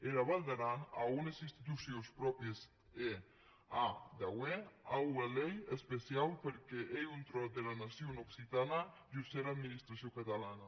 era val d’aran a ues institucions pròpries e a d’auer ua lei especiau pr’amor qu’ei un tròç dera nacion occitana jos era administracion catalana